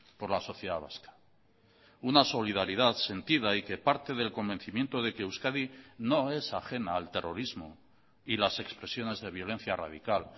por la sociedad vasca una solidaridad sentida y que parte del convencimiento de que euskadi no es ajena al terrorismo y las expresiones de violencia radical